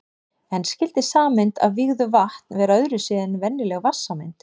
En skyldi sameind af vígðu vatn vera öðru vísi en venjuleg vatnssameind?